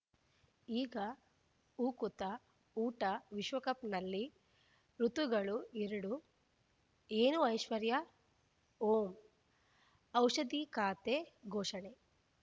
ಈಗ ಉಕುತ ಊಟ ವಿಶ್ವಕಪ್‌ನಲ್ಲಿ ಋತುಗಳು ಎರಡು ಏನು ಐಶ್ವರ್ಯಾ ಓಂ ಔಷಧಿ ಖಾತೆ ಘೋಷಣೆ